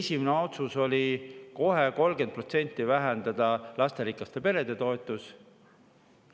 Esimene otsus kohe oli 30% vähendada lasterikaste perede toetust.